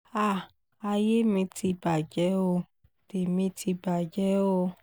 háà ayé mi ti bàjẹ́ ó tèmi ti bàjẹ́ o